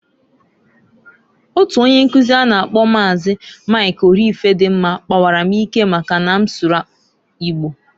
Otu onye nkuzi a na -akpọ Maazi, Mik Orifedimma, pawara m ike maka na m sụrụ Igbo.